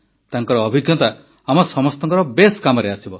ତାଙ୍କର ଅଭିଜ୍ଞତା ଆମ ସମସ୍ତଙ୍କର ବେଶ୍ କାମରେ ଆସିବ